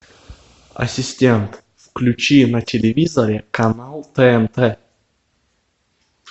ассистент включи на телевизоре канал тнт